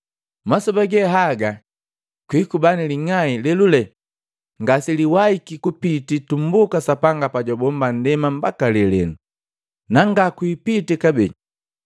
Masoba ge haga kwikuba ni ling'ai lelule ngaseliwahiki kupiti tumbuka Sapanga pajwabomba nndema mbaka lelenu, na nga kwipitii kabee.